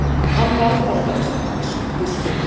Hann varð bara vígslubiskup.